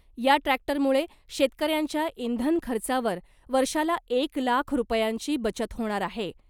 या ट्रॅक्टरमुळे शेतकऱ्यांच्या इंधन खर्चावर वर्षाला एक लाख रुपयांची बचत होणार आहे .